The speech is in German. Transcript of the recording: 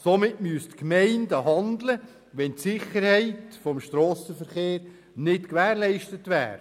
Somit müssten die Gemeinden handeln, wenn die Sicherheit des Strassenverkehrs nicht gewährleistet wäre.